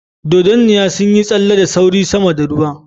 Dragonflies darted swiftly above the water